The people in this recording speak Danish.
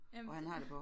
Ja men